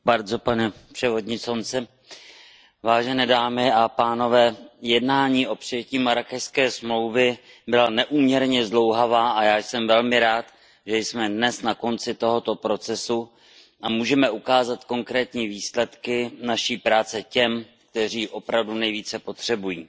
Pane předsedající, jednání o přijetí Marrákešské smlouvy byla neúměrně zdlouhavá a já jsem velmi rád, že jsme dnes na konci tohoto procesu a můžeme ukázat konkrétní výsledky naší práce těm, kteří ji opravdu nejvíce potřebují.